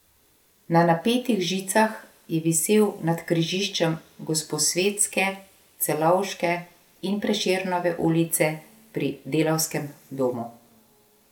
Na napetih žicah je visel nad križiščem Gosposvetske, Celovške in Prešernove ulice pri Delavskem domu.